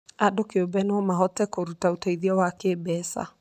Andũ kĩũmbe no mahote kũruta ũteithio wa kĩmbeca,